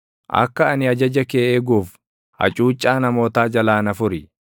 Akka ani ajaja kee eeguuf hacuuccaa namootaa jalaa na furi.